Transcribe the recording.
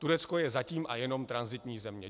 Turecko je zatím a jenom tranzitní země.